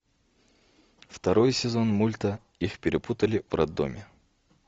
второй сезон мульта их перепутали в роддоме